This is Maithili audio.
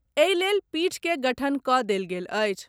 एहि लेल पीठ के गठन कऽ देल गेल अछि।